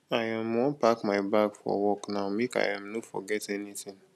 i um wan pack my bag for work now make i um no forget anytin